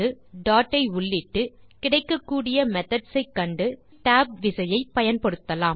dot ஐ உள்ளிட்டு கிடைக்கக்கூடிய மெத்தோட்ஸ் ஐ கண்டு பின் tab விசையை பயன்படுத்தலாம்